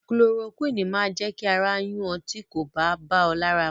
Kulorokúìnì máa jẹ́ kí ara yún ọ tí kò bá bá ọ lára mu.